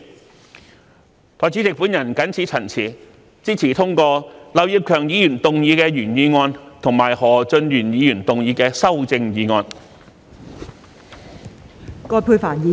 代理主席，我謹此陳辭，支持通過劉業強議員動議的原議案及何俊賢議員動議的修正案。